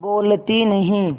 बोलती नहीं